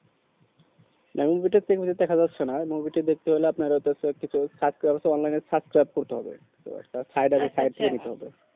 মানে movie টা TV তে দেখা যাচ্ছে না movie টা দেখতে গেলে আপনার হয়তো সব কিছু subscribe online এ subscribe করতে একটা side আছে side দেখতে হবে